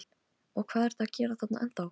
Og hvað ertu að gera þarna ennþá?